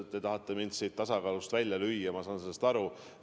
Te tahate mind siin tasakaalust välja lüüa, ma saan sellest aru.